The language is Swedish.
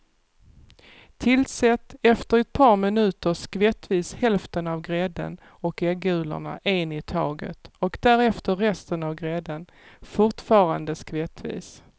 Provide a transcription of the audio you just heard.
Tillsätt efter ett par minuter skvättvis hälften av grädden och äggulorna en i taget och därefter resten av grädden, fortfarande skvättvis.